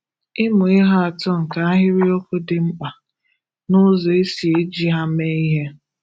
Ị̀mụ̀ ihè atọ̀ nkè àhìrìokwù dị̀ mkpà nà ụzọ̀ è sì ejì hà meè ihè